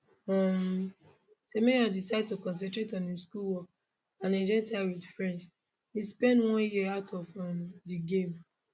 um semenyo decide to concentrate on im schoolwork and enjoy time wit friends im spend one year out of um di game